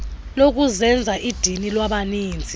lokuzenza idini kwabaninzi